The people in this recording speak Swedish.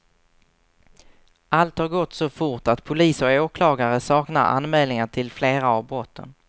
Allt har gått så fort att polis och åklagare saknar anmälningar till flera av brotten.